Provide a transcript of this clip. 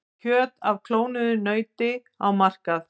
Kjöt af klónuðu nauti á markað